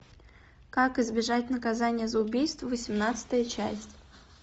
как избежать наказания за убийство восемнадцатая часть